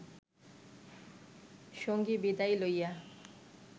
সঙ্গী বিদায় লইয়া